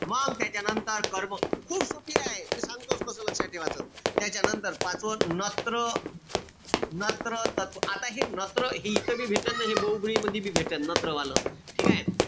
मंग त्याच्यानंतर, कर्म. खूप सोपीए मी सांगतोच कस लक्षात ठेवाच. त्याच्यानंतर पाचवं नत्र नत्र आता हि नत्र इथं बी भेटत नाई. हे बहूव्रीही मंदीबी भेटन. नत्र वाल. ठीकेय?